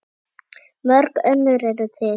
Mörg önnur eru til.